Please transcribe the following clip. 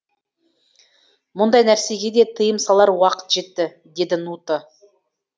мұндай нәрсеге де тыйым салар уақыт жетті деді нуто